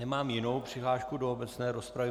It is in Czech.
Nemám jinou přihlášku do obecné rozpravy.